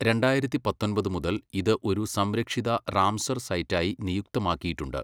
രണ്ടായിരത്തി പത്തൊമ്പത് മുതൽ ഇത് ഒരു സംരക്ഷിത റാംസർ സൈറ്റായി നിയുക്തമാക്കിയിട്ടുണ്ട്.